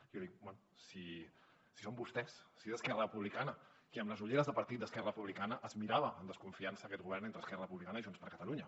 jo dic bé si són vostès si és esquerra republicana qui amb les ulleres de partit d’esquerra republicana es mirava amb desconfiança aquest govern entre esquerra republicana i junts per catalunya